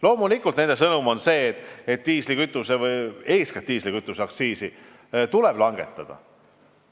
Loomulikult on nende sõnum see, et eeskätt diislikütuseaktsiisi tuleb langetada.